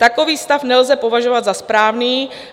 Takový stav nelze považovat za správný.